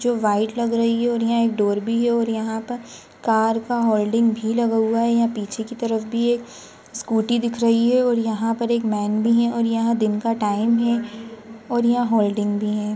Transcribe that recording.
जो वाइट लग रही है और यहाँ एक डोर भी है और यहाँ पर कार का हौल्टिंग भी लगा हुआ है यहाँ पीछे की तरफ भी एक स्कूटी दिख रही है और यहाँ पर एक मैन भी है और यहाँ दिन का टाइम है और यहाँ हौल्टिंग भी है।